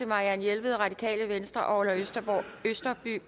marianne jelved og orla østerby